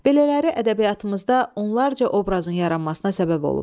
Belələri ədəbiyyatımızda onlarca obrazın yaranmasına səbəb olub.